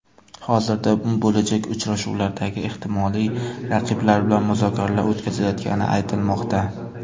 Hozirda bo‘lajak uchrashuvlardagi ehtimoliy raqiblar bilan muzokaralar o‘tkazilayotgani aytilmoqda.